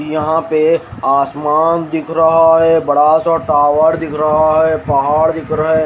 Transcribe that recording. यहां पे आसमान दिख रहा है बड़ा सा टावर दिख रहा है पहाड़ दिख रहा --